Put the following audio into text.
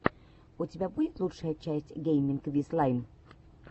у тебя будет лучшая часть гейминг виз лайн